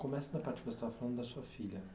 Começa na parte que você estava falando da sua filha.